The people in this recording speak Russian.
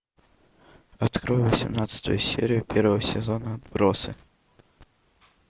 открой восемнадцатую серию первого сезона отбросы